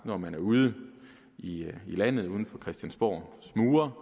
når man er ude i i landet uden for christiansborgs mure